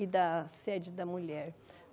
e da sede da mulher.